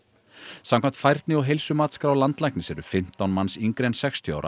samkvæmt færni og heilsumatsskrá landlæknis eru fimmtán manns yngri en sextíu ára